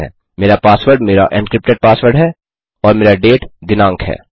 000937 000903 मेरा पासवर्ड मेरा encrypted password है और मेरा डेट दिनाँक है